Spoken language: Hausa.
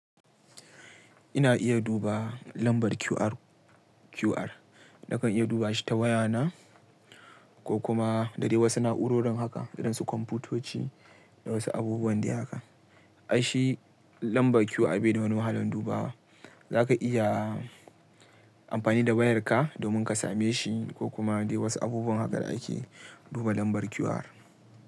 Ina iya duba lambar QR. QR na kan iya duba shi ta wayana ko kuma da dai wasu na'urorin haka, irin su kwamfutoci da wasu abubuwan da haka. Ai shi lambar QR bai da wani wahalan duba wa. Za ka iya amfani da wayarka domin ka same shi ko kuma dai wasu abubuwan hakan da ake duba lambar QR.